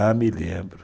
Ah, me lembro.